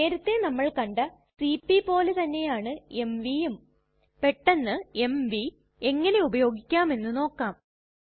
നേരത്തെ നമ്മൾ കണ്ട സിപി പോലെതന്നെയാണ് mvയുംപെട്ടന്ന് എംവി എങ്ങനെ ഉപയോഗിക്കാമെന്ന് നോക്കാം